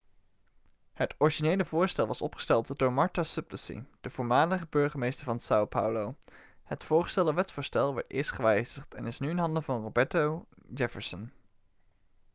het originele voorstel was opgesteld door marta suplicy de voormalig burgemeester van são paulo. het voorgestelde wetsvoorstel werd eerst gewijzigd en is nu in handen van roberto jefferson